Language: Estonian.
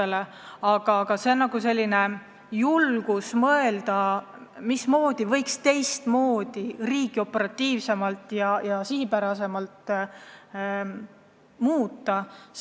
See võiks anda ka meile tõuke mõelda, mismoodi võiks teistmoodi, operatiivsemalt ja sihipärasemalt riiki juhtida.